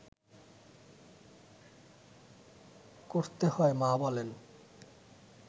করতে হয়, মা বলেন